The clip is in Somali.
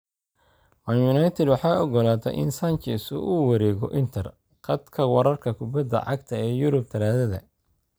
Man Utd waxay oggolaatay in Sanchez uu u wareego Inter. Khadka wararka kubbada cagta ee Yurub Talaadada.